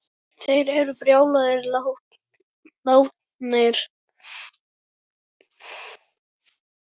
Þeir eru báðir látnir.